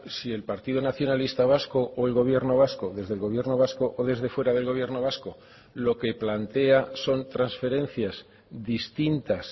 si el partido nacionalista vasco o el gobierno vasco desde el gobierno vasco o desde fuera del gobierno vasco lo que plantea son transferencias distintas